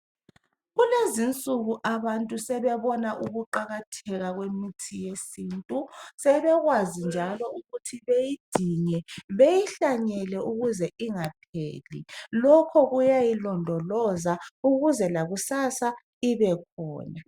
Kulezinsuku abantu sebebona ukuqakatheka kwemithi yesintu sebekwazi njalo ukuthi beyidinge beyihlanyele ukuze ingapheli lokho kuyayilondoloza ukuze lakusasa ibekhona.